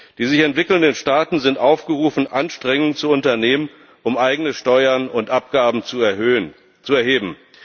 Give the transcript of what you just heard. Die sich entwickelnden Staaten sind aufgerufen, Anstrengungen zu unternehmen, um eigene Steuern und Abgaben zu erheben.